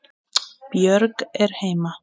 Biður hann að bíða.